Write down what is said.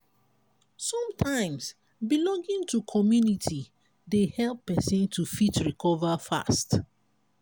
sometimes belonging to community dey help person to fit recover fast